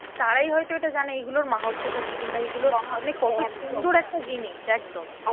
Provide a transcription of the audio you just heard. তারাই হয়তো এটা জানে এইগুলোর মাহাত্মটা কি? কিংবা এইগুলোর মানে কত সুন্দর একটা জিনিস, একদম